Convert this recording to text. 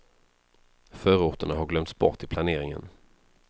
Förorterna har glömts bort i planeringen.